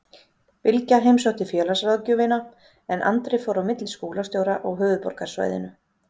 Bylgja heimsótti félagsráðgjöfina en Andri fór á milli skólastjóra á höfuðborgarsvæðinu.